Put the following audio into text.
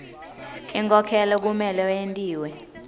inkhokhelo kumele yentiwe